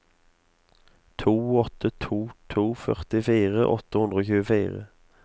to åtte to to førtifire åtte hundre og tjuefire